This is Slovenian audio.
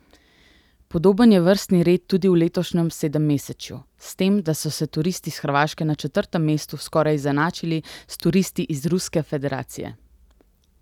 Podoben je vrstni red tudi v letošnjem sedemmesečju, s tem, da so se turisti s Hrvaške na četrtem mestu skoraj izenačili s turisti iz Ruske federacije.